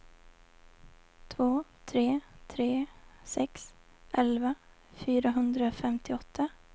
två tre tre sex elva fyrahundrafemtioåtta